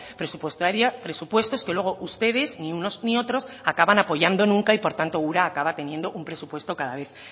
presupuestaria presupuestos que luego ustedes ni unos ni otros acaban apoyando nunca y por tanto ura acaba teniendo un presupuesto cada vez